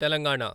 Telangana